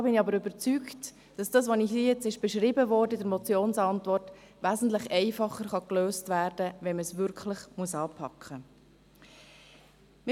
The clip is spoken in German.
Ich bin jedoch überzeugt, dass das, was in der Motionsantwort beschrieben wurde, wesentlich einfacher gelöst werden kann, wenn man es wirklich anpacken muss.